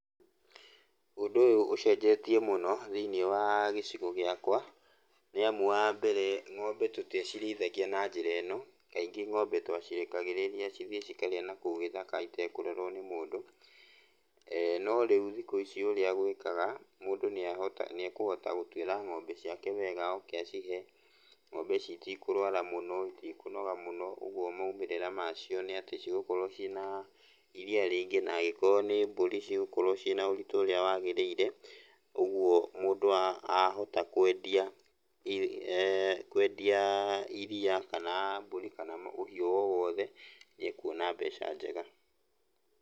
Ũndũ ũyũ ũcenjetie mũno thĩiniĩ wa gĩcigo gĩakwa, nĩ amu wa mbere ng'ombe tũtiacirĩithagia na njĩra ĩno, kaingĩ ng'ombe twacirekagĩrĩria cithiĩ cikarĩe nakũu gĩthaka itekũrorwo nĩ mũndũ. No rĩu thikũ ici ũrĩa gwĩkaga mũndũ nĩ ekũhota gũtwĩra ng'ombe ciake wega oke acihe. Ng'ombe ici itikũrũara mũno, itikũnoga mũno, ũguo moimĩrĩra macio, nĩ atĩ cigũkorwo ciĩna iria rĩingĩ na angĩkorwo nĩ mbũri cigũkorwo ciĩna ũritũ ũrĩa wagĩrĩire. Ũguo mũndũ ahota kwendia iria kana mbũri kana ũhiũ o wothe nĩ ekuona mbeca njega.